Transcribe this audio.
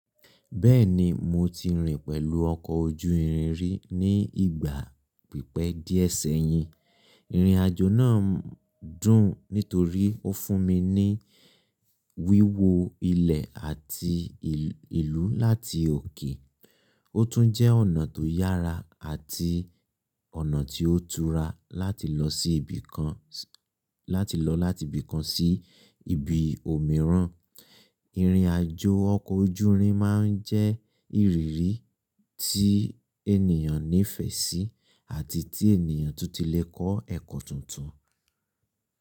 Bẹ́ẹ̀ni, mo ti rìn pẹ̀lú ọkọ̀ ojú irin rí ní ìgbà pípẹ́ díẹ̀ sẹ́yìn. Ìrìn àjò náà dùn nítorí ó fún mi ní wíwo ilẹ̀ àti ìlú láti òkè. Ó tún jẹ́ ọ̀nà tó yára àti ọ̀nà tí ó tura láti lọ sí ibìkan, láti lọ láti ibìkan sí ibi òmíràn. Ìrìn àjò ọkọ̀ ojú irin máa ń jẹ́ ìrírí tí ènìyàn nífẹ̀ẹ́ sí àti tí ènìyàn tún ti lè kọ́ ẹ̀kọ́ tuntun.